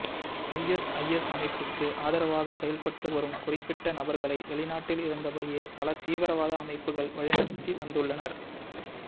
ISIS அமைப்புக்கு ஆதரவாக செயல்பட்டு வரும் குறிப்பிட்ட நபர்களை வெளிநாட்டில் இருந்தபடியே பல தீவிரவாத அமைப்புகள் வழிநடத்தி வந்துள்ளனர்